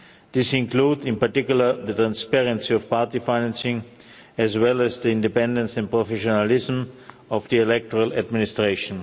This includes, in particular, the transparency of party financing, as well as the independence and professionalism of the electoral administration.